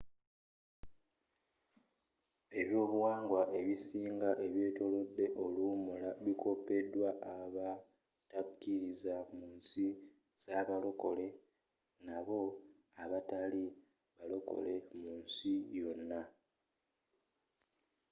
eby'obuwangwa ebisinga ebyetolodde oluwummula bikopeddwa abo abatakkiriza munsi za balokole nabo abatali balokole munsi yonna